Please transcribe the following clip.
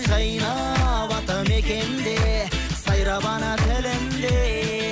жайнап атамекенде сайрап ана тілінде